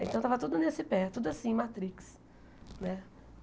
Então tava tudo nesse pé, tudo assim, matrix, né?